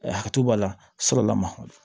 Hakili b'a la fɔlɔ la ma